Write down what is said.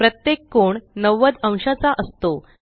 प्रत्येक कोण 90अंशाचा असतो